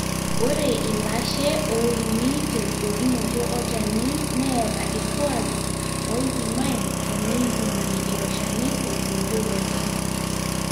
ore ilashe oini teudokinoto olchani neeta irkuaaki oipimai teneipimi ilo shani otuudokoki